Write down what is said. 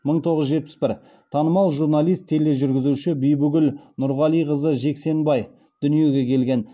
мың тоғыз жүз жетпіс бір танымал журналист тележүргізуші бибігүл нұрғалиқызы жексенбай дүниеге келген